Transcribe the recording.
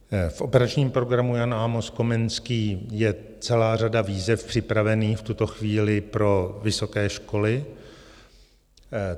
V operačním programu Jan Amos Komenský je celá řada výzev připravených v tuto chvíli pro vysoké školy.